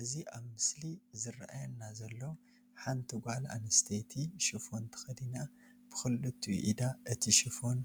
እዚ አብ ምስሊ ዝረአየና ዘሎ ሓንት ጋል ኣንስተት ሽፎን ተከዲና ብክልትኡ ኢዳ አቲ ሽፎን